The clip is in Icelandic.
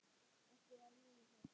Ertu að meina það?